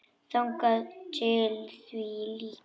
Þangað til því lýkur.